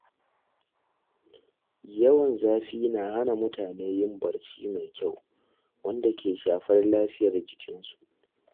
Yawan zafi na hana mutane yin barci mai kyau, wanda ke shafar lafiyar jikinsu.